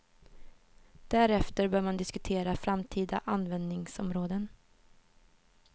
Därefter bör man diskutera framtida användningsområden.